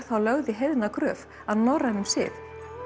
þá lögð í heiðna gröf að norrænum sið